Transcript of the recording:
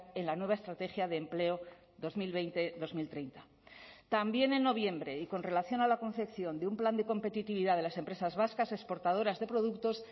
en la nueva estrategia de empleo dos mil veinte dos mil treinta también en noviembre y con relación a la concepción de un plan de competitividad de las empresas vascas exportadoras de productos